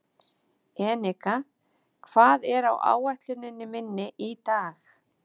Enika, hvað er á áætluninni minni í dag?